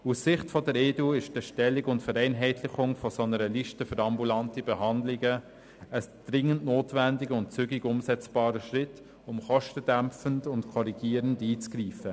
Aus Sicht der EDU sind die Erstellung und die Vereinheitlichung einer solchen Liste für ambulante Behandlungen ein dringend notwendiger und zügig umzusetzender Schritt, um bei den Kosten dämpfend und korrigierend einzugreifen.